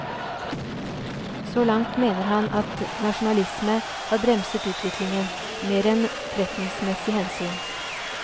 Så langt mener han at nasjonalisme har bremset utviklingen, mer enn forretningsmessige hensyn.